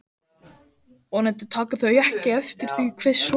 Vonandi taka þau ekki eftir því hve sorg